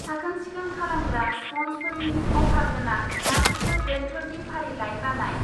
साखोन सिखोन खालामग्रा स्पनजफोरनि अफार गोनां गासैबो ब्रेन्डफोरनि फारिलाइ बानाय।